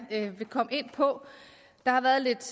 vil komme ind på der har været lidt